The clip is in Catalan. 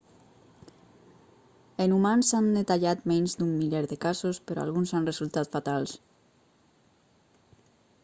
en humans s'han detallat menys d'un miler de casos però alguns han resultat fatals